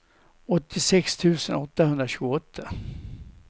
åttiosex tusen åttahundratjugoåtta